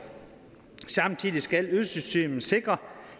samtidig skal ydelsessystemet sikre